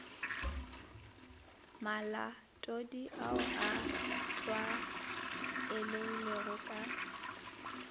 malatodi ao a tlwaelegilego ka